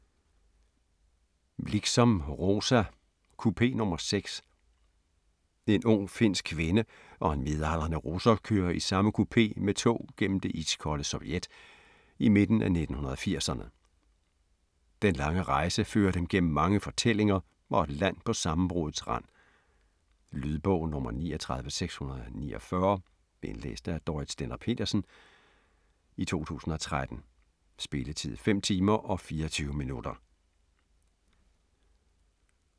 Liksom, Rosa: Kupé nr. 6 En ung, finsk kvinde og en midaldrende russer kører i samme kupé med tog gennem det iskolde Sovjet i midten af 1980'erne. Den lange rejse fører dem gennem mange fortællinger og et land på sammenbruddets rand. Lydbog 39649 Indlæst af Dorrit Stender-Petersen, 2013. Spilletid: 5 timer, 24 minutter.